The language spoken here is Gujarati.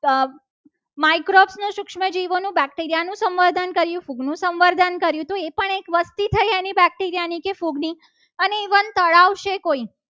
Microskop નું સૂક્ષ્મજીવોનું બેક્ટેરિયાનું સંવર્ધન કરીએ સંવર્ધન કર્યું હતું. એ પણ એક વસ્તી થઈ. એની બેક્ટેરિયાની ખોદની અને ઇવન તળાવ છે. કોઈ